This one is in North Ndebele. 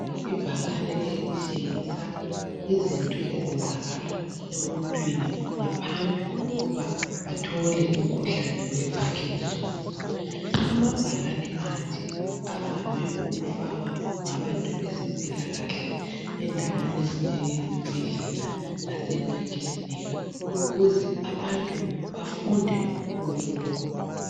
Ibhakane elitshengisa izinto ezenzakala emuntwini ngaphambi kokuba athole umkhuhlane we parkinson. Amabhakane anje avame ukufakwa ngabantu bezempilakahle endaweni ezinjengezibhedlela lasemakilinika ukuze abantu bafunde kuwo.